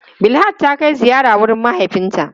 Bilhat ta kai ziyara wurin mahaifinta.